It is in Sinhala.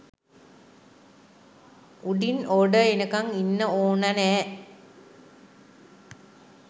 උඩින් ඕඩර් එනකං ඉන්න ඕන නෑ